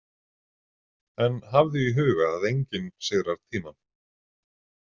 En hafðu í huga að enginn sigrar tímann.